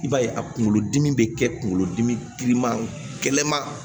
I b'a ye a kunkolodimi bɛ kɛ kunkolodimi giriman gɛlɛman